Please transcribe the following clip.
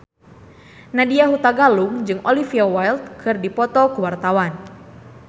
Nadya Hutagalung jeung Olivia Wilde keur dipoto ku wartawan